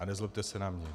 A nezlobte se na mě.